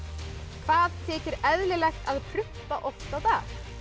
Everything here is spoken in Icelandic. hvað þykir eðlilegt að prumpa oft á dag